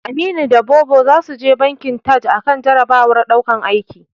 Aminu da Bobo zasu je bankin Taj akan jarabawar daukan aiki.